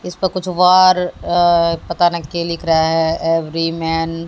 इसे पे कुछ वार पता नहीं क्या लिख रहा है एवरी मेन --